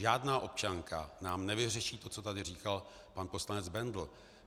Žádná občanka nám nevyřeší to, co tady říkal pan poslanec Bendl.